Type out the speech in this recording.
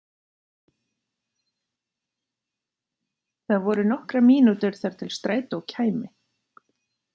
Það voru nokkrar mínútur þar til strætó kæmi.